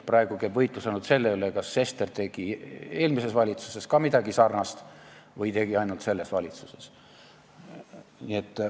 Praegu käib võitlus ainult selle üle, kas Sester tegi midagi sarnast ka eelmises valitsuses või siiski ainult selles valitsuses.